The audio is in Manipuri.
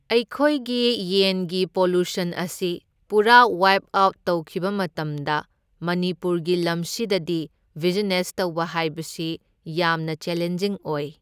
ꯑꯩꯈꯣꯏꯒꯤ ꯌꯦꯟꯒꯤ ꯄꯣꯄꯨꯁꯟ ꯑꯁꯤ ꯄꯨꯔꯥ ꯋꯥꯏꯞ ꯑꯥꯎꯠ ꯇꯧꯈꯤꯕ ꯃꯇꯝꯗ ꯃꯅꯤꯄꯨꯔꯒꯤ ꯂꯝꯁꯤꯗꯗꯤ ꯕꯤꯖꯤꯅꯦꯁ ꯇꯧꯕ ꯍꯥꯏꯕꯁꯤ ꯌꯥꯝꯅ ꯆꯦꯂꯦꯟꯖꯤꯡ ꯑꯣꯏ꯫